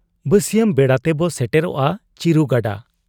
ᱵᱟᱹᱥᱤᱭᱟᱹᱢ ᱵᱮᱲᱟ ᱛᱮᱵᱚ ᱥᱮᱴᱮᱨᱚᱜ ᱟ ᱪᱤᱨᱩ ᱜᱟᱰᱟ ᱾